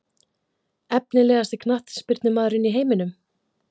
Efnilegasti knattspyrnumaðurinn í heiminum?